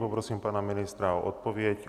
Poprosím pana ministra o odpověď.